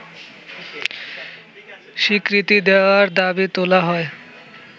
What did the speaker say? স্বীকৃতি দেয়ার দাবি তোলা হয়